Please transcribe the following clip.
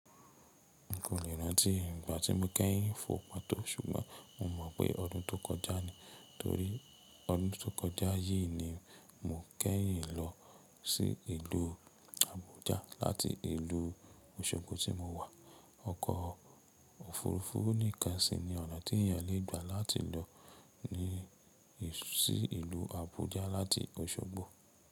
N kò lè rántí ìgbà tí mo kẹ́yìn fò pàtó ṣùgbọ́n mo mọ̀ pé ọdún tó kọjá ni, torí ọdún tó kọjá yìí ni mo kẹ́yìn lọ sí ìlú Abuja láti ìlú Osogbo tí mo wà. Ọkọ̀ òfurufú nìkan sì ni ọ̀nà tí èèyàn le gbà láti lọ ní sí ìlú Abuja láti Osogbo.